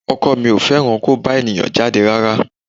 Ọkọ mi ò fẹ́ràn kó bá èèyàn jáde rárá